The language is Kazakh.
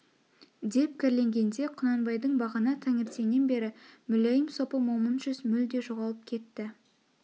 деп кәрленгенде құнанбайдың бағана таңертеңнен бері мүләйім сопы момын жүз мүлде жоғалып кетті